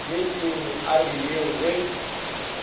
bjetšeng a re yeng ge